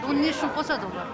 оны не үшін қосады олар